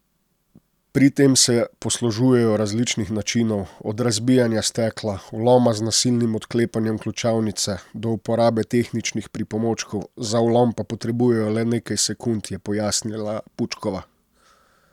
Pri tem se poslužujejo različnih načinov, od razbijanja stekla, vloma z nasilnim odklepanjem ključavnice, do uporabe tehničnih pripomočkov, za vlom pa potrebujejo le nekaj sekund, je pojasnila Pučkova.